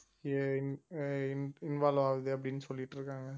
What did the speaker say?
ஆஹ் அஹ் involve ஆகுது அப்படின்னு சொல்லிட்டிருக்காங்க